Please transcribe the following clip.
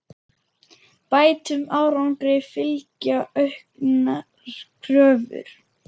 Bættum árangri fylgja auknar kröfur.